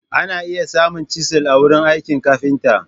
Ana iya samun chisel a wurin aikin kafinta.